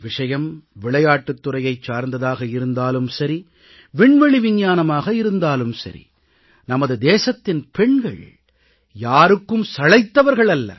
விஷயம் விளையாட்டுத் துறையைச் சார்ந்ததாக இருந்தாலும் சரி விண்வெளி விஞ்ஞானமாக இருந்தாலும் சரி நமது தேசத்தின் பெண்கள் யாருக்கும் சளைத்தவர்கள் அல்லர்